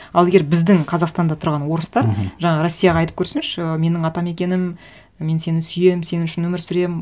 ал егер біздің қазақстанда тұрған орыстар мхм жаңағы россияға айтып көрсінші ы менің атамекенім мен сені сүйемін сен үшін өмір сүремін